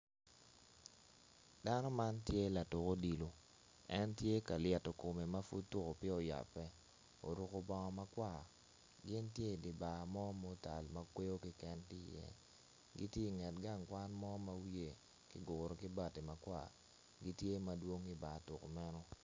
Dano man tye latuk odilo en tye ka lyeto kome oruko bongo makwar gin gitye i dye bar mo ma otal gitye i nget gang kwan mo ma wiye kiguro ki bati makwar.